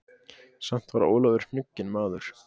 Samt var Ólafur hnugginn maður.